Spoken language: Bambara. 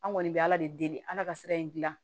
An kɔni bɛ ala de deli ala ka sira in dilan